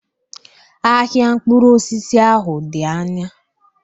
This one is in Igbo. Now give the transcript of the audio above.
Ahịa mkpụrụ osisi ahụ dị anya.